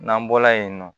N'an bɔla yen nɔ